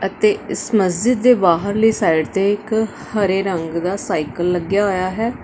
ਅਤੇ ਇਸ ਮਸਜਿਦ ਦੇ ਬਾਹਰਲੇ ਸਾਈਡ ਤੇ ਇਕ ਹਰੇ ਰੰਗ ਦਾ ਸਾਈਕਲ ਲੱਗਿਆ ਹੋਇਆ ਹੈ।